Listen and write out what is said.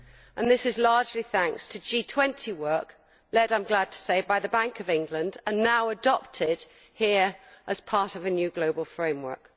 And this is largely thanks to G20 work led, I am glad to say, by the Bank of England and now adopted here as part of a new global framework.